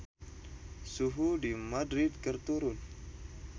Suhu di Madrid keur turun